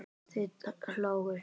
Þau hlógu.